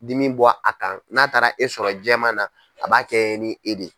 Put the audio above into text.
Dimi bɔ a kan n'a taara e sɔrɔ jɛɛman na a b'a kɛ ni e de